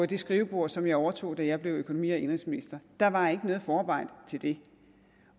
det skrivebord som jeg overtog da jeg blev økonomi og indenrigsministeren der var ikke noget forarbejde til det